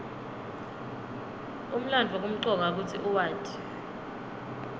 umlandvo kumcoka kutsi uwati